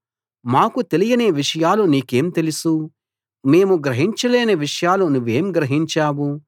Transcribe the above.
మాకు తెలియని విషయాలు నీకేం తెలుసు మేము గ్రహించలేని విషయాలు నువ్వేం గ్రహించావు